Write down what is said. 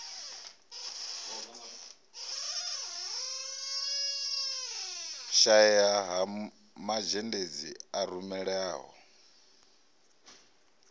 shaea ha mazhendedzi a rumelaho